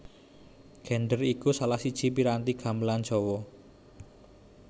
Gendèr iku salah siji piranti gamelan Jawa